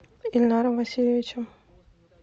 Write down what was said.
ильнаром васильевичем